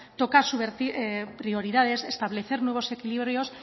toca subvertir prioridades establecer nuevos equilibrios